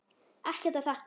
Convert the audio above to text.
Ekkert að þakka